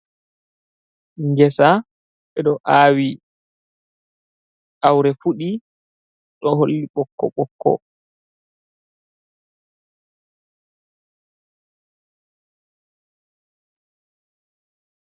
Ngeesa ɓe ɗo aawi awre fuɗi ɗo holli ɓokko bokko.